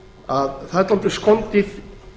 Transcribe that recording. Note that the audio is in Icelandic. að það er svolítið skondið